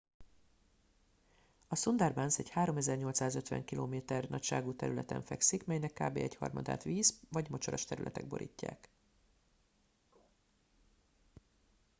a sundarbans egy 3850 km² nagyságú területen fekszik melynek kb. egyharmadát víz/mocsaras területek borítják